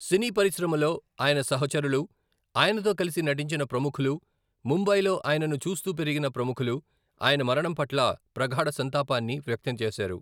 సినీ పరిశ్రమలో ఆయన సహచరులు, ఆయనతో కలిసి నటించిన ప్రముఖులు, ముంబైలో ఆయనను చూస్తూ పెరిగిన ప్రముఖులు ఆయన మరణం పట్ల ప్రగాఢ సంతాపాన్ని వ్యక్తం చేశారు.